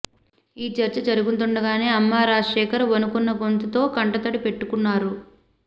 ఈ చర్చ జరుగుతుండగానే అమ్మ రాజశేఖర్ వణుకున్న గొంతుతో కంటతడి పెట్టుకున్నారు